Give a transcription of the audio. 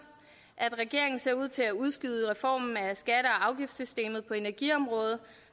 at regeringen ser ud til at udskyde reformen af skatte og afgiftssystemet på energiområdet